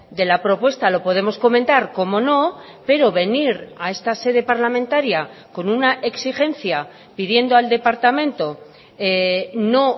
de la propuesta lo podemos comentar cómo no pero venir a esta sede parlamentaria con una exigencia pidiendo el departamento no